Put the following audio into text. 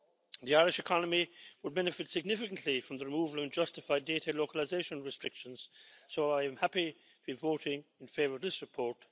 The Irish economy will benefit significantly from the removal of unjustified data localisation restrictions so I am happy to be voting in favour of this report.